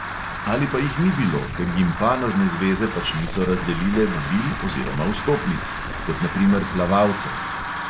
Ali pa jih ni bilo, ker jim panožne zveze pač niso razdelile vabil oziroma vstopnic – kot na primer plavalcem.